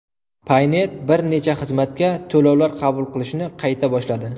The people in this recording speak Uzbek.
Paynet bir necha xizmatga to‘lovlar qabul qilishni qayta boshladi.